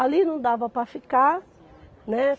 Ali não dava para ficar, né?